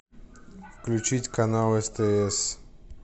включить канал стс